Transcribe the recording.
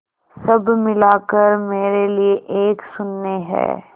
सब मिलाकर मेरे लिए एक शून्य है